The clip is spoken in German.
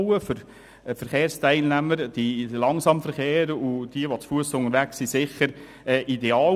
Für Fussgänger und Verkehrsteilnehmer, die langsam unterwegs sind, ist das sicher ideal.